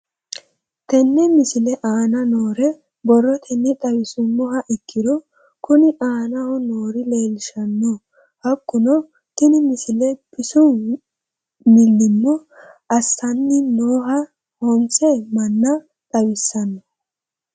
Tenne misile aana noore borrotenni xawisummoha ikirro kunni aane noore leelishano. Hakunno tinni misile bisu millimmo assanni nooha honse manna xawissanno.